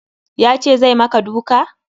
Ya ce zai maka duka?